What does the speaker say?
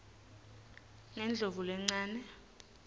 ngendlovulencane